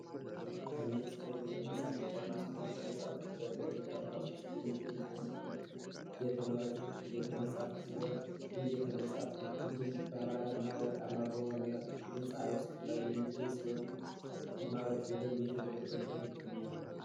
ጃን ሞስኮ ቤተመጻሕፍት ጃን ሞስኮ ቤተመጻሕፍት በፓሊ ካምፓስ ውስጥ የሚገኝ አንድ ትልቅ የተማሪዎች ቤተመጻሕፍት ሲሆን ይህ ቤተመጻሕፍት እጅጉን ባማረ እና ወርቃማ በሆነ ህንፃ ውስጥ ላይ የሚገኝ ሲሆን ተማሪዎች በደንብ እየተገለገሉበት ይገኛሉ።